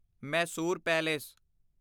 Mysore palace